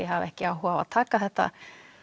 hafa ekki áhuga á að taka þetta